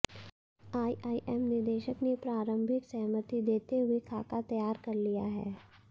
IIM निदेशक ने प्रारंभिक सहमति देते हुए खाका तैयार कर लिया है